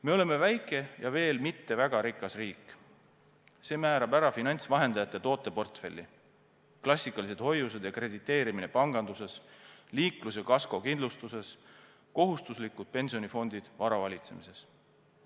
Me oleme väike ja veel mitte väga rikas riik, see määrab ära finantsvahendajate tooteportfelli: klassikalised hoiused ja krediteerimine panganduses, liiklus- ja kaskokindlustuses, kohustuslikud pensionifondid vara valitsemises.